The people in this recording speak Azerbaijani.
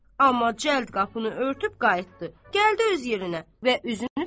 Amma cəld qapını örtüb qayıtdı, gəldi öz yerinə və üzünü tutdu dədəsinə.